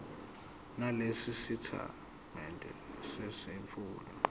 nalesi sitatimende semfihlo